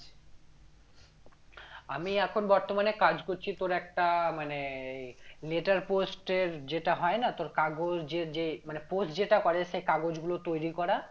আমি এখন বর্তমানে কাজ করছি তোর একটা মানে letter post এর যেটা হয় না তোর কাগজের যে মানে post যেটা করে সেই কাগজগুলো তৈরি করা